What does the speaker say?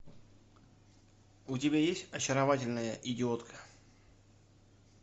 у тебя есть очаровательная идиотка